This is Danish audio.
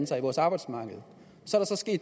sig i vores arbejdsmarked nu